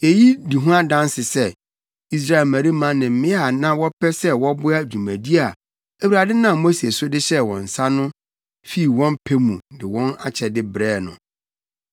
Eyi di ho adanse sɛ Israel mmarima ne mmea a na wɔpɛ sɛ wɔboa dwumadi a Awurade nam Mose so de hyɛɛ wɔn nsa no fi wɔn pɛ mu de wɔn akyɛde brɛɛ no.